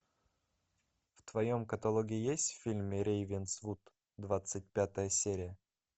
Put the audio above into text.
в твоем каталоге есть фильм рейвенсвуд двадцать пятая серия